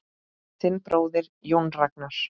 Þinn bróðir, Jón Ragnar.